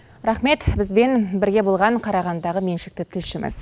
рахмет бізбен бірге болған қарағандыдағы меншікті тілшіміз